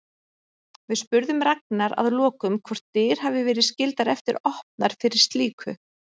Við spurðum Ragnar að lokum hvort dyr hafi verið skyldar eftir opnar fyrir slíku?